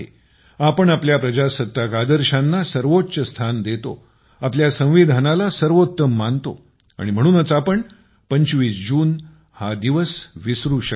आपण आपल्या प्रजासत्ताक आदर्शांना सर्वोच्च स्थान देतो आपल्या संविधानाला सर्वोत्तम मानतो आणि म्हणूनच आपण 25 जून हा दिवस विसरू शकत नाही